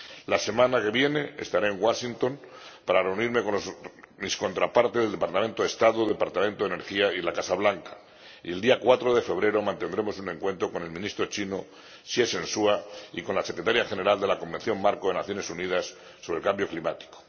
La semana que viene estaré en Washington para reunirme con mis contrapartes del Departamento de Estado, del Departamento de Energía y la Casa Blanca y el día 4 de febrero mantendremos un encuentro con el Ministro chino Xie Zhenhua y con la Secretaria General de la Convención Marco de las Naciones Unidas sobre el Cambio Climático.